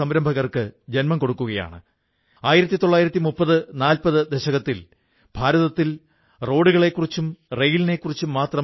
ആ ചെറിയ ബിസിനസുമായി കഴിയുമ്പോഴാണ് പെൻസിൽ നിർമ്മാണത്തിന് പോപ്ലാർ തടി അതായത് ചിനാർ തടിയുടെ ഉപയോഗം ആരംഭിച്ചിരിക്കുന്നുവെന്ന് അദ്ദേഹത്തിന് അറിയാനായത്